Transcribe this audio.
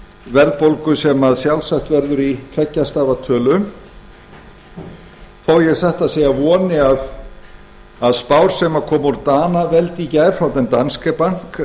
verðbólgu sem sjálfsagt verður í tveggja stafa tölu þó að ég satt að segja voni að spár sem komu úr danaveldi í gær frá den danske bank